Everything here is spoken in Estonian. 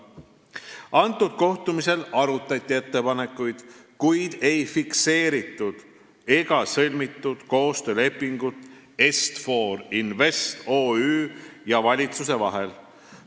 Sellel kohtumisel arutati ettepanekuid, kuid ei fikseeritud ega sõlmitud koostöölepingut Est-For Invest OÜ ja valitsuse vahel.